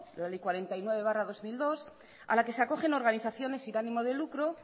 la ley cuarenta y nueve barra dos mil dos a la que se acogen organizaciones sin ánimo de lucro